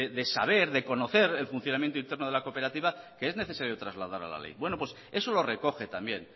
de saber de conocer el funcionamiento interno de la cooperativa que es necesario trasladar a la ley bueno pues eso lo recoge también